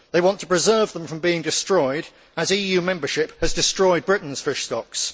They want to preserve them from being destroyed, as EU membership has destroyed Britain's fish stocks.